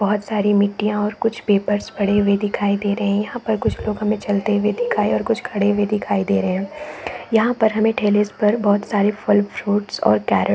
बहुत सारी मिट्टिया और कुछ पेपर्स पड़े हुए दिखाई दे रहे है यहाँ पर कुछ लोग हमें चलते हुए दिखाई और कुछ लोग खड़े हुए दिखाई दे रहे है यहाँ पर हमें ठेले पर फल-फ्रूट्स और केरट्स ।